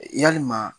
Yalima